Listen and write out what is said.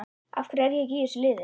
Af hverju er ég ekki í þessu liði?